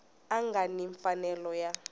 a nga ni mfanelo ya